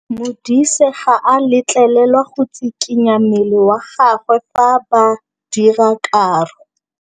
Modise ga a letlelelwa go tshikinya mmele wa gagwe fa ba dira karô.